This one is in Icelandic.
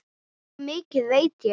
Svo mikið veit ég.